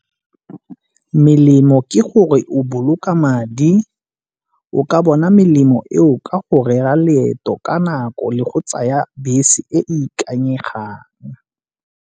Melemo ke gore o boloka madi, o ka bona melemo eo ka go rera leeto ka nako le go tsaya bese e e ikanyegang.